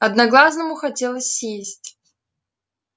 одноглазому хотелось сесть